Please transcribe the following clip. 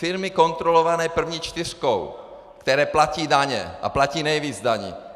Firmy kontrolované první čtyřkou, které platí daně a platí nejvíc daní.